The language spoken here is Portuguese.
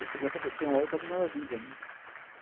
Você começa a ter uma outra visão da vida.